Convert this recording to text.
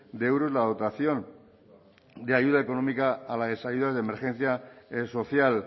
de euros la dotación de ayuda económica a las ayudas de emergencia social